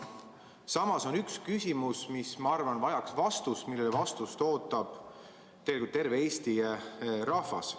Samas on üks küsimus, mis, ma arvan, vajab vastust, millele vastust ootab tegelikult terve Eesti rahvas.